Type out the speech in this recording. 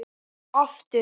Og aftur.